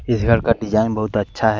इस घर का डिजाइन बहुत अच्छा है।